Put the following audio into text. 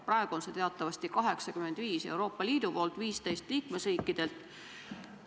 Praegu on see teatavasti 85 Euroopa Liidult ja 15 liikmesriikidelt.